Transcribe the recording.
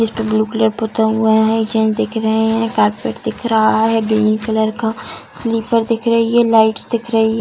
इसपे blue colour पुता हुआ है एक जेंट्स दिख रहे हैं कार्पेट दिख रहा है ग्रीन कलर का स्लिपर्स दिख रही है लाइट्स दिख रही है ।